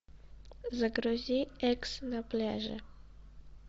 загрузи экс на пляже